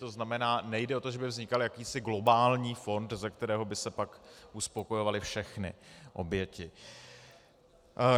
To znamená, nejde o to, že by vznikal jakýsi globální fond, ze kterého by se pak uspokojovaly všechny oběti.